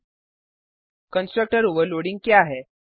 httpwwwspoken tutorialओआरजी constructor overloading क्या है